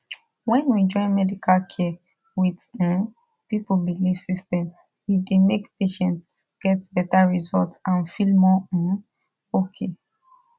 when we join medical care with um people belief system e dey make patients get better result and feel more um okay